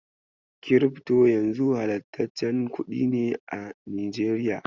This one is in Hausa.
Kirifto yanzu halastaccen kuɗi ne a Najeriya.